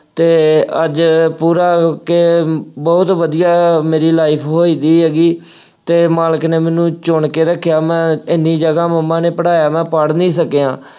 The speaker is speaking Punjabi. ਅਤੇ ਅੱਜ ਪੂਰਾ ਕਿ ਬਹੁਤ ਵਧੀਆ ਮੇਰੀ life ਹੋਈ ਗਈ ਹੈਗੀ ਅਤੇ ਮਾਲਕ ਨੇ ਮੈਨੂੰ ਚੁਣ ਕੇ ਰੱਖਿਆ, ਮੈਂ ਐਨੀ ਜਗ੍ਹਾ ਮੰਮਾ ਨੇ ਪੜ੍ਹਾਇਆ, ਮੈਂ ਪੜ੍ਹ ਨਹੀਂ ਸਕਿਆ।